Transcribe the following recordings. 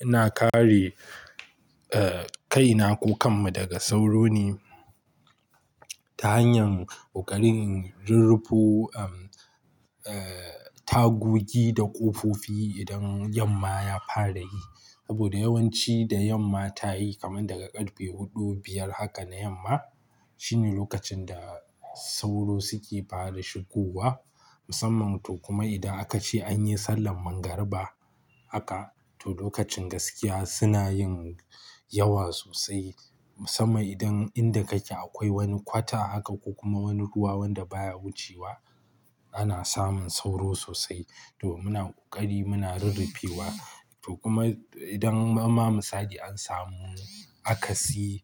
Ina kare, eh, kaina ko kanmu daga sauro ne ta hanyar kokarin rirrufo, ehm, eh, tagogi da ƙofofi idan yamma ya fara yi. Saboda yawanci da yamma ta yi kamar daga karfe huɗu, biyar haka na yamma, shine lokacin da sauro suke fara shigowa. Musamman to kuma idan aka ce an yi sallan magariba aka, to lokacin gaskiya suna yin yawa sosai. Musamman idan inda kake akwai wani kwata aka ko kuma wani ruwa wanda baya wucewa, ana samun sauro sosai. To muna ƙoƙari muna rirrefewa. To kuma idan ba ma misali an samu aka si,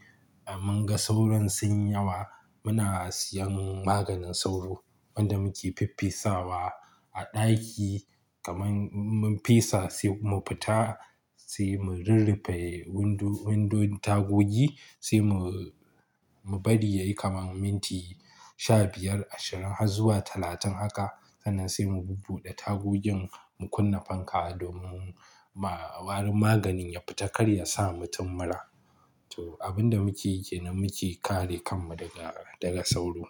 mun ga sauron sun yi yawa, muna siyan maganin sauro wanda muke fiffesawa a ɗaki. Kaman mun fesa sai mu fita sai mu rirrefi windo, windon tagogi sai mu, mu bari yayi kamar minti sha biyar, ashirin har zuwa talatin haka. Sannan sai mu buɓuɗe tagogin mu kunna fanka domin ba, bari maganin ya fita kar ya sa mutum mura. To abun da muke yi kenan muke kare kanmu daga, daga sauro.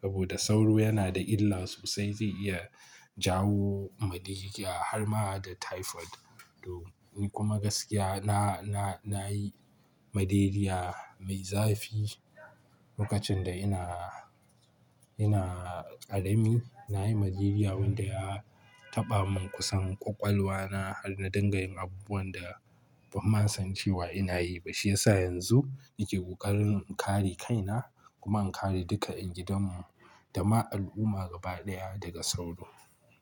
Saboda sauro yana da illa sosai. Zai iya jawo malaria har ma da typhoid. To ni kuma gaskiya na, na, nayi malaria mai zafi lokacin da ina, ina ƙarami. Na yi malaria wanda ya taɓa min kusan ƙwaƙwalwa na har na dinga yin abubuwan da ban ma san cewa ina yi ba. Shi ya sa yanzu nake ƙoƙarin in kare kaina kuma in kare duka ƴan gidan mu da ma al'umma gaba ɗaya daga sauro.